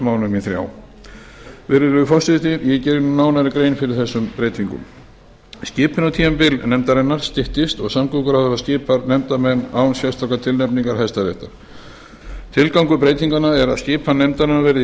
mánuðum í þrjá virðulegi forseti ég geri nú nánari grein fyrir þessum breytingum skipunartímabil nefndarinnar styttist og samgönguráðherra skipar nefndarmenn án sérstakrar tilnefningar hæstaréttar tilgangur breytinganna er að skipan nefndarinnar verði